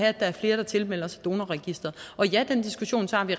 at der er flere der tilmelder sig donorregistret og ja den diskussion tager vi